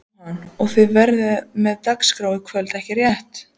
Jóhann: Og þið verðið með dagskrá í kvöld ekki rétt?